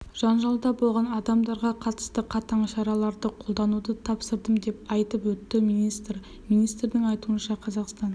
жанжалда болған адамдарға қатысты қатаң шараларды қолдануды тапсырдым деп айтып өтті министр министрдің айтуынша қазақстан